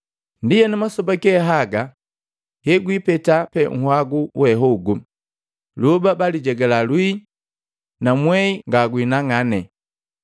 “Ndienu masoba ge haga hegwipeta pe uhagu we hogu, lyoba baalijegala lwii na mwehi ngagwinang'ane.”